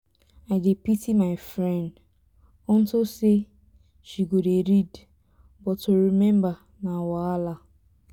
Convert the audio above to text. i dey pity my friend unto say she go dey read but to remember na wahala.